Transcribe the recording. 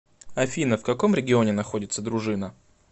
афина в каком регионе находится дружина